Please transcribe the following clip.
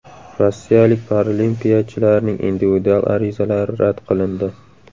Rossiyalik paralimpiyachilarning individual arizalari rad qilindi.